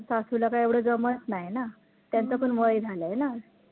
सासुला काय एवढं काही जमतं नाही ना त्यांचं पण वय झालायं ना